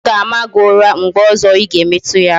M ga-ama gị ụra mgbe ọzọ Ị ga-emetu ya aka